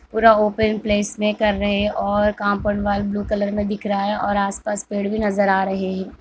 पूरा open place में कर रहे हैं और कंफर्ट वॉल ब्लू कलर में दिख रहा है और आस-पास पेड़ भी नजर आ रहे हैं।